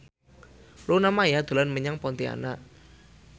Luna Maya dolan menyang Pontianak